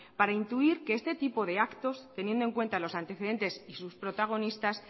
para intuir que este tipo de actos teniendo en cuenta los antecedentes y sus protagonistas